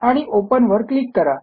आणि ओपन वर क्लिक करा